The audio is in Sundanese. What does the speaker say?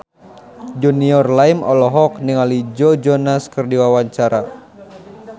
Junior Liem olohok ningali Joe Jonas keur diwawancara